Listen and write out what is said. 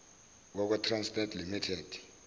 yakwa trasnet limited